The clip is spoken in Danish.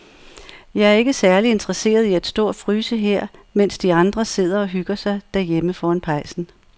Jeg er ikke særlig interesseret i at stå og fryse her, mens de andre sidder og hygger sig derhjemme foran pejsen.